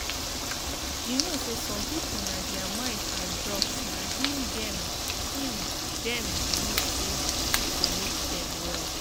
you know say some people na thier mind and drugs na him them him them believe say go make them well.